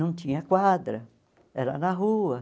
Não tinha quadra, era na rua.